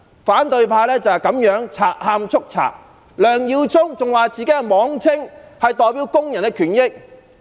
反對派就是這樣賊喊捉賊，梁耀忠議員還說自己是代表工人的權益。